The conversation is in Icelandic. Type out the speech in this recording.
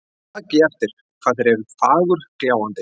Takið eftir hvað þeir eru fagurgljáandi.